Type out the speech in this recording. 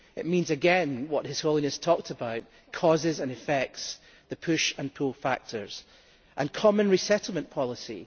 It means what His Holiness was talking about causes and effects, the push and pull factors, and a common resettlement policy.